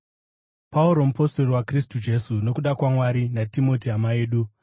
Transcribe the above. Pauro, mupostori waKristu Jesu nokuda kwaMwari, naTimoti hama yedu,